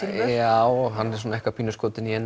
já hann er eitthvað pínu skotinn í henni